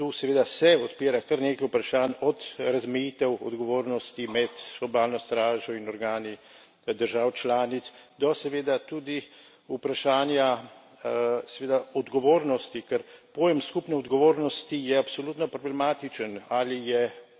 In mislim, da tu, seveda, se odpira kar nekaj vprašanj od razmejitev odgovornosti med obalno stražo in organi držav članic, do seveda tudi vprašanja, seveda, odgovornosti, ker pojem skupne odgovornosti je absolutno problematičen.